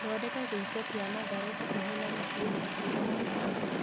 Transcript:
Thondeka gĩito kĩa matharũ hakuhĩ na mũcĩĩ na hakuhĩ na maĩĩ